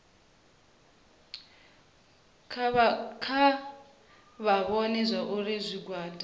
kha vha vhone zwauri zwigwada